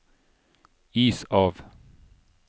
is av